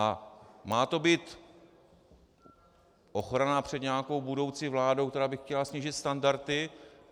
A má to být ochrana před nějakou budoucí vládou, která by chtěla snížit standardy.